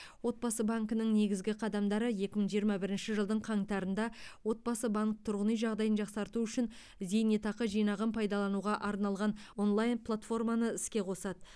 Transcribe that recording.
отбасы банкінің негізгі қадамдары екі мың жиырма бірінші жылдың қаңтарында отбасы банк тұрғын үй жағдайын жақсарту үшін зейнетақы жинағын пайдалануға арналған онлайн платформаны іске қосады